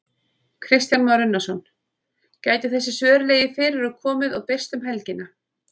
Kristján Már Unnarsson: Gætu þessi svör legið fyrir og komið og birst um helgina?